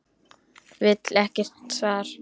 Vill ekkert svar.